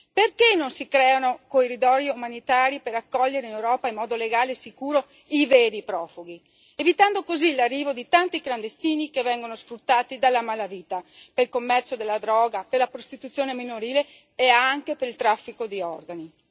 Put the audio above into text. Perché non si creano corridoi umanitari per accogliere in Europa, in modo legale e sicuro, i veri profughi, evitando così l'arrivo di tanti clandestini che vengono sfruttati dalla malavita per il commercio di droga, per la prostituzione minorile e per il traffico di organi?